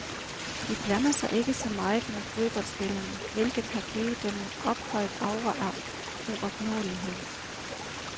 De blander sig ikke så meget med boldspillerne, hvilket har givet dem en ophøjet aura af uopnåelighed.